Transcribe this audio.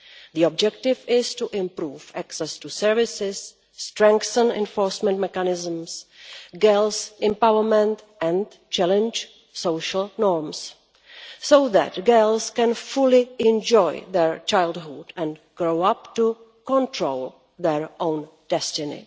The objective is to improve access to services, strengthen enforcement mechanisms, increase girls' empowerment and challenge social norms, so that girls can fully enjoy their childhood and grow up to control their own destiny.